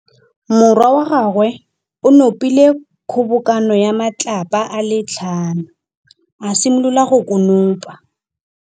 Morwa wa gagwe o nopile kgobokanô ya matlapa a le tlhano, a simolola go konopa.